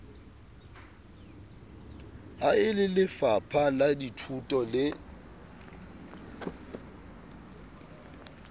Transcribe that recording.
ha e lelefapha lathuto le